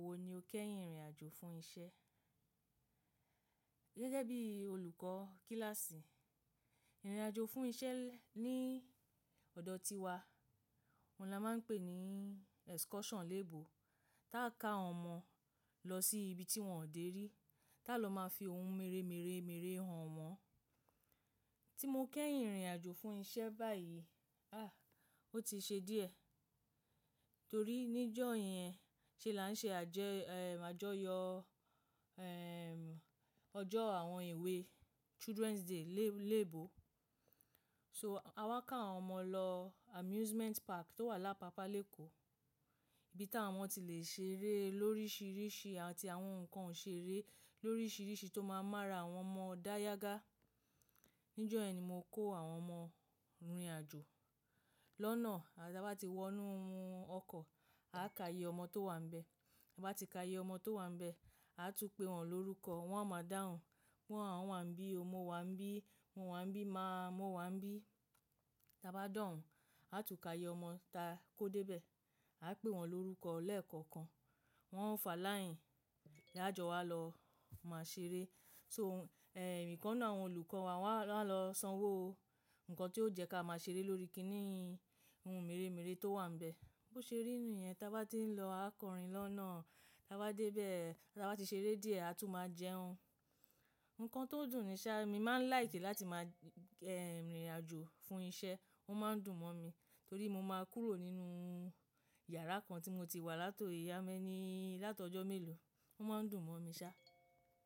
Àwo ni o kẹ́yìn rìnrìn àjò fún isẹ́ gẹ́gẹ́ bí olùkọ́ kíláàsì. Rìnrìn àjò fún isẹ́ ní ọ̀dọ̀ tiwa, òun là máa ń pè ní excursion léèbo, táa ka àwọn ọmọ lọ sí ibi tí wọ́n ò dé rí, tá lọ máa fi ohun mèremère mèremère hàn wọ́n. Tí mo kẹ́yìn rìnrìn àjò fún isẹ́ báyìí, ah! Ó ti ṣe díẹ̀ torí níjọ́ yẹn ṣe là ń ṣe àjẹ-ehm-àjọyọ̀-ehm- ọjọ́ àwọn ewé, Children's Day léèbo. So, àwa ká àwọn ọmọ lọ amusement park tó wà lápa Leko ibi táwọn omo ti le ṣe eré lórísirísi àti àwọn nǹkan òṣèré lórísirísi tó máa ń mára àwọn ọmọ dá yágá. Níjọ́ yẹn ni mo kó àwọn ọmọ rìnrìn àjò. Lọ́nà, ta a bá ti wọ inú ọkọ̀, a ká iye ọmọ tó wà níbẹ̀. Bá ti ká iye ọmọ tó wà níbẹ̀, a tún pé wọ́n lórúkọ. Wọ́n a máa dáhùn, pe awọ́n wà n bí, mọ wa ń bí, mo wà n bí, má mọ wà ń bí. Tí a bá de ohùn, a tún ká iye ọmọ táa kó dé bẹ̀. A pé wọ́n lórúkọ lẹ́ẹ̀kọ̀kan. Wọ́n ó fà láìyìn, lájọ wá lọ máa ṣe eré. So, eh, ìkan nu àwọn olùkọ́ wa wá lọ sanwó ohun nkan tí ó jẹ́ ká máa ṣe eré lórí kiní, ohun mèremère tó wà níbẹ̀. Bo ṣe rí ni yẹn táa bá ti ń lọ, a kọ̀rín lọ́nà. Táa bá dé bẹ́ẹ̀, táa bá ti ṣe eré díẹ̀, a tún máa jẹun. Ǹkan tó dùn ni ṣá, mi máa ń láìki láti máa-ehm- rìnrìn àjò fún isẹ́. Ó máa ń dùn mọ́ mi torí mo máa kúrò nínú yàrá kan tí mo ti wà látò how many, látọ̀ ọjọ́ mélòó. Ó máa ń dùn mọ́ mi ṣá.